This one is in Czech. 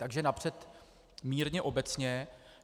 Takže napřed mírně obecně.